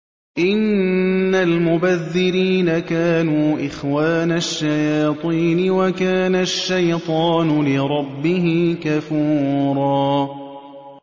إِنَّ الْمُبَذِّرِينَ كَانُوا إِخْوَانَ الشَّيَاطِينِ ۖ وَكَانَ الشَّيْطَانُ لِرَبِّهِ كَفُورًا